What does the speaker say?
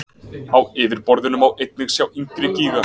Á yfirborðinu má einnig sjá yngri gíga.